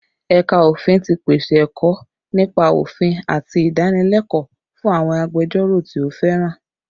Ẹ̀ka Ofin ti pèsè ẹ̀kọ́ nípa òfin àti ìdánilẹ́kọ̀ọ́ fún àwọn agbẹjọ́rò tí ó fẹ́ràn